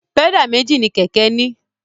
Pẹ́dà méjì mi kẹ̀kẹ́ ní.